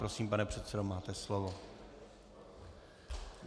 Prosím, pane předsedo, máte slovo.